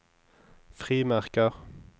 frimerker